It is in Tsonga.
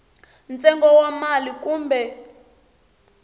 ntsengo wa mali kumbe xin